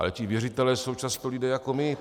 Ale ti věřitelé jsou často lidé jako my.